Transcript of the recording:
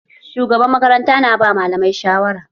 Shugaban makaranta na ba malamai shawara